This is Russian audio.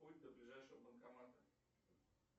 путь до ближайшего банкомата